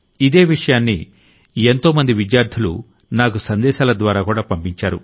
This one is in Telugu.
ఇదే విషయాన్ని ఎంతో మంది విద్యార్ధులు నాకు సందేశాల ద్వారాకూడా పంపించారు